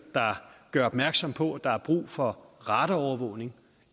der gør opmærksom på at der er brug for radarovervågning